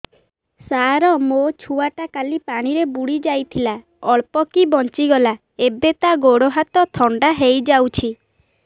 ସାର ମୋ ଛୁଆ ଟା କାଲି ପାଣି ରେ ବୁଡି ଯାଇଥିଲା ଅଳ୍ପ କି ବଞ୍ଚି ଗଲା ଏବେ ତା ଗୋଡ଼ ହାତ ଥଣ୍ଡା ହେଇଯାଉଛି